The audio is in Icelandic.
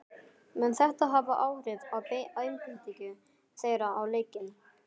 Mun þetta hafa áhrif á einbeitingu þeirra á leikinn?